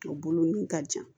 A bolonɔn ka jan